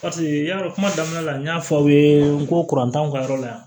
Paseke yarɔ kuma daminɛ la n y'a fɔ aw ye n ko t'anw ka yɔrɔ la yan